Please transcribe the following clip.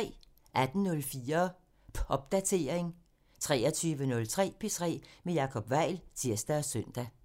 18:04: Popdatering (tir) 23:03: P3 med Jacob Weil (tir og søn)